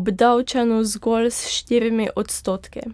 obdavčeno zgolj s štirimi odstotki.